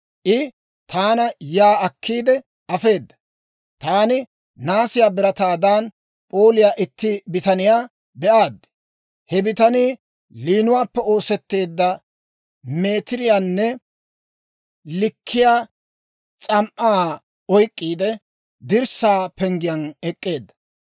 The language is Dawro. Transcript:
I taana yaa akkiide afeeda; taani naasiyaa birataadan p'ooliyaa itti bitaniyaa be'aad. He bitanii liinuwaappe oosetteedda meetiriyaanne likkiyaa S'am"aa oyk'k'iide, dirssaa penggen ek'k'eedda.